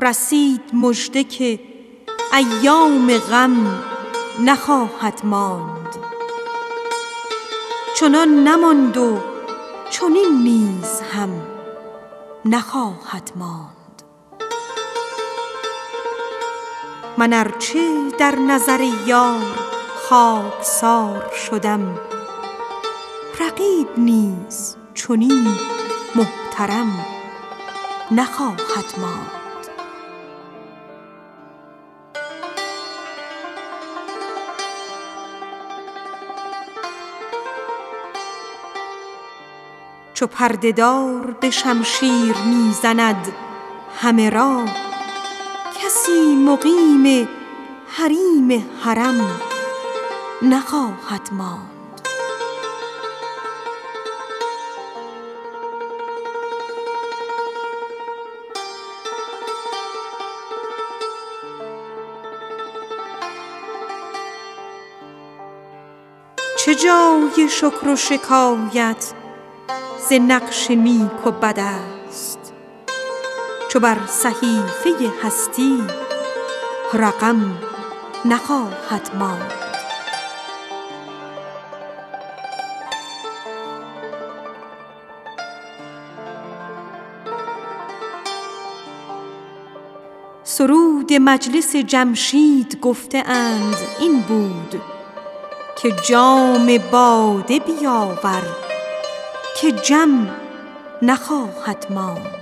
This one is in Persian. رسید مژده که ایام غم نخواهد ماند چنان نماند چنین نیز هم نخواهد ماند من ار چه در نظر یار خاک سار شدم رقیب نیز چنین محترم نخواهد ماند چو پرده دار به شمشیر می زند همه را کسی مقیم حریم حرم نخواهد ماند چه جای شکر و شکایت ز نقش نیک و بد است چو بر صحیفه هستی رقم نخواهد ماند سرود مجلس جمشید گفته اند این بود که جام باده بیاور که جم نخواهد ماند